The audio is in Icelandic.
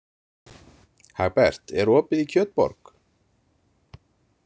Hagbert, er opið í Kjötborg?